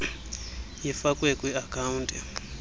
ifakwe kwi account